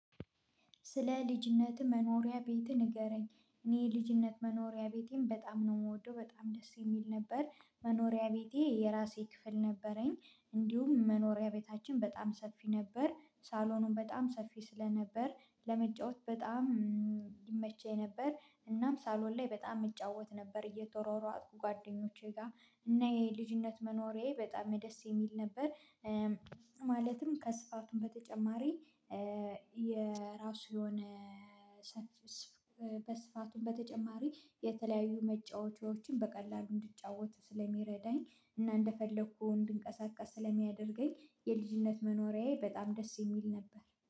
ስለ ልጅነትህ መኖሪያ ቤትህ ንገረኝ? እኔ ልጅነት መኖሪያ ቤቴም በጣም ነው የምወደው በጣም ደስ የሚል ነበር። መኖሪያ ቤቴ የራሴ ክፍል ነበረኝ። እንዲሁም መኖሪያ ቤታችን በጣም ሰፊ ነበር ሳሎኑን በጣም ሰፊ ስለነበር ለመጫወት በጣም ይመቸኝ ነበር። እናም ሳሎን ላይ በጣም እጫወት ነበር እየተሯሯጥኩ ጓደኞቼ ጋር እና የልጅነት መኖሪያዬ በጣም ደስ የሚል ነበር። ማለትም ከስፋቱም በተጨማሪ የራሱ የሆነ ሰፊ በስፋቱን በተጨማሪ የተለያዩ መጫወቻዎችን በቀላሉ እንድጫወት ስለሚረዳኝ እና እንደፈለኩ እንድንቀሳቀስ ስለሚያደርገኝ የልጅነት መኖሪያዬ በጣም ደስ የሚል ነበር